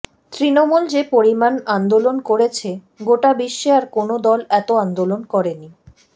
তৃণমূল যে পরিমাণ আন্দোলন করেছে গোটা বিশ্বে আর কোনও দল এত আন্দোলন করেননি